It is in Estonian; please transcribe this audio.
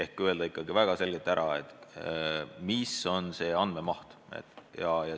Ikkagi tuleks väga selgelt öelda, kui suur on see andmemaht.